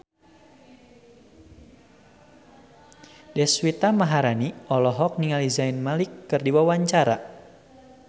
Deswita Maharani olohok ningali Zayn Malik keur diwawancara